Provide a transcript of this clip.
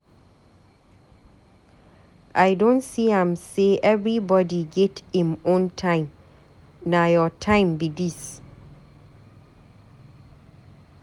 I don see am sey everybodi get im own time, na your time be dis.